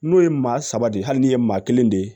N'o ye maa saba de ye hali n'i ye maa kelen de ye